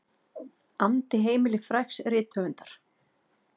andi heimili frægs rithöfundar.